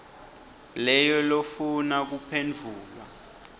leyo lofuna kuphendvula